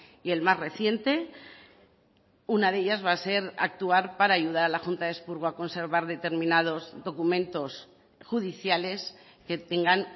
y el más reciente una de ellas va a ser actuar para ayudar a la junta de expurgo a conservar determinados documentos judiciales que tengan